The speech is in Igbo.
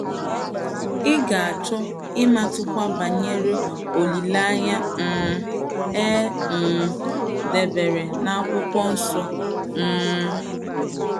Ị̀ ga - achọ ịmụtakwu banyere olileanya um a um dabeere n' akwụkwọ nsọ um??